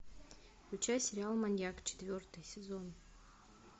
включай сериал маньяк четвертый сезон